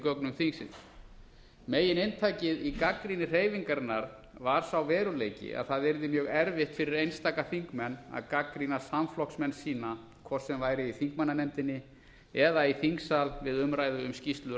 gögnum þingsins megininntakið í gagnrýni hreyfingarinnar var sá veruleiki að það yrði mjög erfitt fyrir einstaka þingmenn að gagnrýna samflokksmenn sína hvort sem væri í þingmannanefndinni eða í þingsal við umræðu um skýrslu